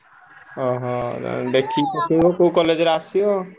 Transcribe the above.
ଓହୋ! ଦେଖିକି ପକେଇବ କୋଉ college ରେ ଆସିବ।